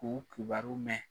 K'u kibaru mɛn.